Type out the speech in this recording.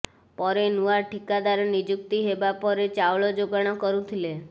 ପରେ ନୂଆ ଠିକାଦାର ନିଯୁକ୍ତି ହେବା ପରେ ଚାଉଳ ଯୋଗାଣ କରୁଥିଲେ